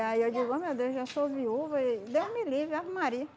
aí eu digo, ai meu Deus, eu já sou viúva e Deus me livre, Ave Maria.